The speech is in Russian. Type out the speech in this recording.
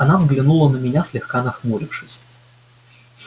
она взглянули на меня слегка нахмурившись